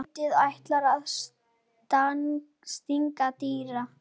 Nautið ætlaði að stanga Týra.